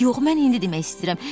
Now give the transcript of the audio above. Yox, mən indi demək istəyirəm.